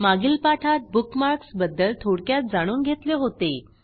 मागील पाठात बुकमार्क्स बद्दल थोडक्यात जाणून घेतले होते